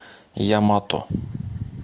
ямато